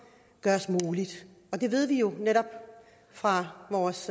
kan ved jo netop fra vores